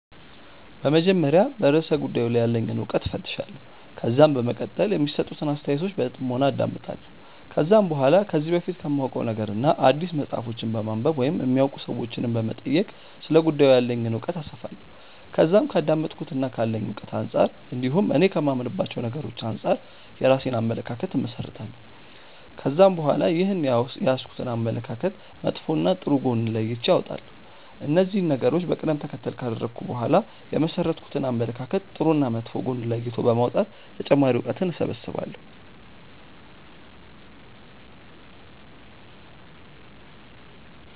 በመጀመሪያ በርእሰ ጉዳዩ ላይ ያለኝን እውቀት እፈትሻለሁ። ከዛም በመቀጠል የሚሰጡትን አስተያየቶች በጥሞና አዳምጣለሁ። ከዛም በኋላ ከዚህ በፊት ከማውቀው ነገርና አዲስ መጽሐፎችን በማንበብ ወይም የሚያውቁ ሰዎችንም በመጠየቅ ስለ ጉዳዩ ያለኝን እውቀት አሰፋለሁ። ከዛም ከአዳመጥኩትና ካለኝ እውቀት አንጻር እንዲሁም እኔ ከማምንባቸው ነገሮች አንጻር የራሴን አመለካከት እመሠረታለሁ። ከዛም በኋላ ይህንን የያዝኩትን አመለካከት መጥፎና ጥሩ ጎን ለይቼ አወጣለሁ። እነዚህን ነገሮች በቀደም ተከተል ካደረኩ በኋላ የመሠረትኩትን አመለካከት ጥሩና መጥፎ ጎን ለይቶ በማውጣት ተጨማሪ እውቀትን እሰበስባለሁ።